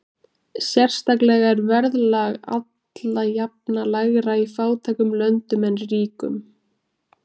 Sérstaklega er verðlag alla jafna lægra í fátækum löndum en ríkum.